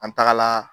An tagala